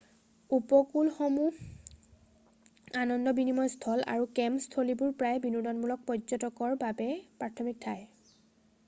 উপকূলসমূহ আনন্দ বিনিময় স্থল আৰু কেম্প স্থলীবোৰ প্ৰায়ে বিনোদনমূলক পৰ্যটকৰ বাবে প্ৰাথমিক ঠাই